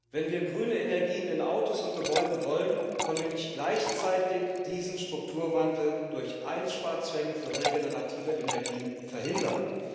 Wenn wir grüne Energien in Autos und Gebäuden wollen, können wir nicht gleichzeitig diesen Strukturwandel durch Einsparzwänge für regenerative Energien verhindern.